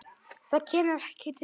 Það kemur ekki til mála.